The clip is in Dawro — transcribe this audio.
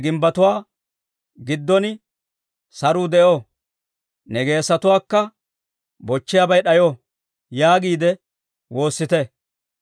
Ne gimbbetuwaa giddon saruu de'o! Ne geesatuwaakka bochchiyaabay d'ayo!» yaagiide woossite.